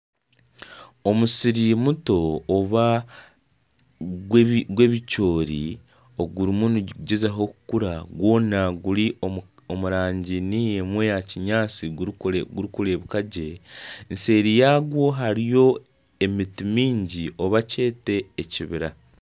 Omusiri muto ogwebicoori ogurimu nigugyezaho kukura gwona guri omu rangi niyo emwe eya kinyaatsi gurikureebeka gye nseeri yagwo hariyo emiti mingi nari ekibira